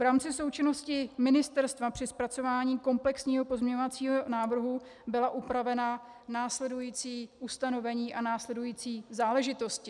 V rámci součinnosti ministerstva při zpracování komplexního pozměňovacího návrhu byla upravena následující ustanovení a následující záležitosti.